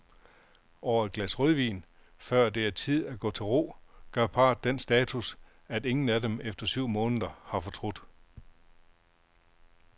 Over et glas rødvin, før det er tid at gå til ro, gør parret den status, at ingen af dem efter syv måneder har fortrudt.